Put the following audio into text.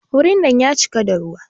Wurin nan ya cika da ruwa.